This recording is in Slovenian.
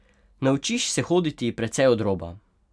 Naučiš se hoditi precej od roba.